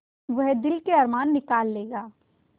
वह दिल के अरमान निकाल लेगा